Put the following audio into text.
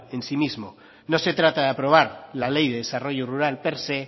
en sí misma no se trata de aprobar la ley de desarrollo rural per se